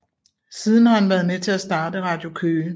Siden har han været med til at starte Radio Køge